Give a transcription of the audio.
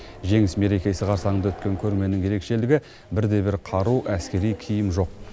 жеңіс мерекесі қарсаңында өткен көрменің ерекшелігі бір де бір қару әскери киім жоқ